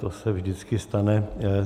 To se vždycky stane.